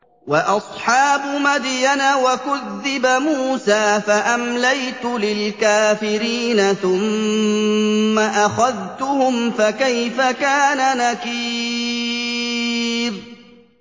وَأَصْحَابُ مَدْيَنَ ۖ وَكُذِّبَ مُوسَىٰ فَأَمْلَيْتُ لِلْكَافِرِينَ ثُمَّ أَخَذْتُهُمْ ۖ فَكَيْفَ كَانَ نَكِيرِ